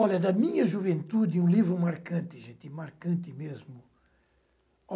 Olha, da minha juventude, um livro marcante, gente, marcante mesmo.